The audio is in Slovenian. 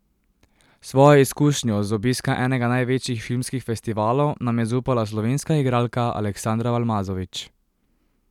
Svojo izkušnjo z obiska enega največjih filmskih festivalov nam je zaupala slovenska igralka Aleksandra Balmazovič.